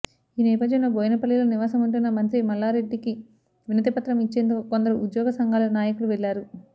ఈ నేపథ్యంలో బోయినపల్లిలో నివాసముంటున్న మంత్రి మల్లారెడ్డికి వినతిపత్రం ఇచ్చేందుకు కొందరు ఉద్యోగసంఘాల నాయకులు వెళ్లారు